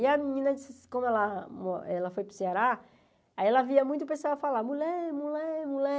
E a menina, como ela mo ela foi para o Ceará, ela via muito o pessoal falar, mulher, mulher, mulher.